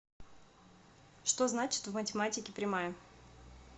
что значит в математике прямая